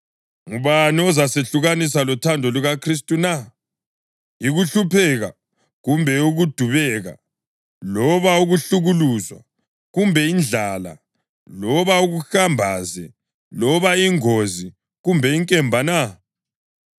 Ngubani ozasehlukanisa lothando lukaKhristu na? Yikuhlupheka kumbe ukudubeka loba ukuhlukuluzwa kumbe indlala loba ukuhamba ze loba ingozi kumbe inkemba na?